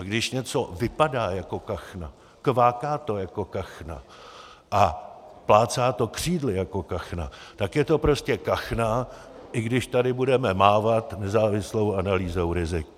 A když něco vypadá jako kachna, kváká to jako kachna a plácá to křídly jako kachna, tak je to prostě kachna, i když tady budeme mávat nezávislou analýzou rizik.